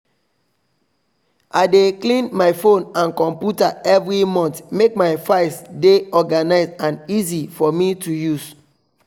i dey clean my phone and computer every month make my files dey organised and easy for me to use